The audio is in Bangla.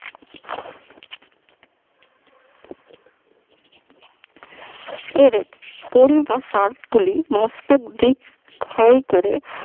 এরেক থাইকেরে